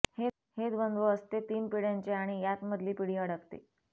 हे द्वंद्व असते तीन पिढ्यांचे आणि यात मधली पिढी अडकते